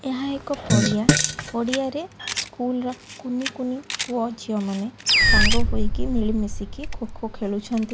ଏହା ଏକ ପଡ଼ିଆ ପଡ଼ିଆରେ ସ୍କୁଲ୍ ର କୁନି କୁନି ପୁଅ ଝିଅ ମାନେ ସାଙ୍ଗ ହୋଇକି ମିଳିମିଶିକି ଖୋ ଖୋ ଖେଳୁଛନ୍ତି --